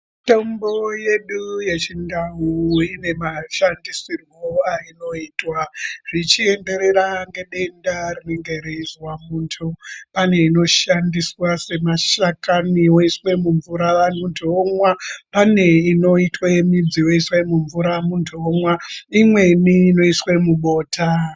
Mitombo yedu yechindau ine mashandisirwo ainoitwa zvichienderera ngedenda rinenge reizwa muntu. Pane inoshandiswa semashakani woiswe mumvura vantu vomwa, pane inoitwe midzi yoiswe mumvura muntu omwa imweni inoiswe mubota.